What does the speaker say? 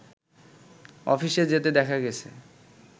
অফিসে যেতে দেখা গেছে